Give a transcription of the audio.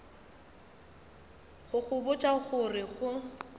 go botša go re go